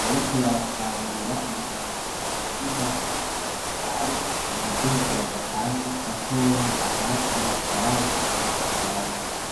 bariko barasarura ibirayi mu murima miniya wibirayi bamaze kugira agapande gatoyi ahandi batarareza gusarura.